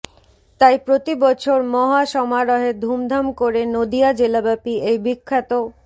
তাই প্রতিবছর মহা সমারহে ধুমধাম করে নদীয়া জেলাব্যাপী এই বিখ্যাত